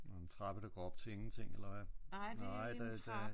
Nogle trapper der går op til ingenting eller hvad?